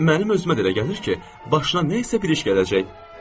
Mənim özümə də elə gəlir ki, başına nəyisə bir iş gələcək.